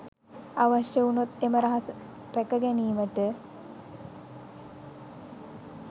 අවශ්‍ය වුණොත් එම රහස රැක ගැනීමට